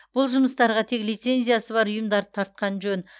бұл жұмыстарға тек лицензиясы бар ұйымдарды тартқан жөн